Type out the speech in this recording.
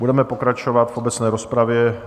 Budeme pokračovat v obecné rozpravě.